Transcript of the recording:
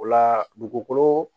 O la dugukolo